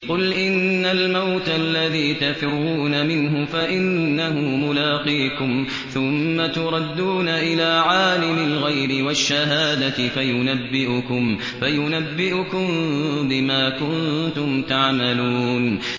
قُلْ إِنَّ الْمَوْتَ الَّذِي تَفِرُّونَ مِنْهُ فَإِنَّهُ مُلَاقِيكُمْ ۖ ثُمَّ تُرَدُّونَ إِلَىٰ عَالِمِ الْغَيْبِ وَالشَّهَادَةِ فَيُنَبِّئُكُم بِمَا كُنتُمْ تَعْمَلُونَ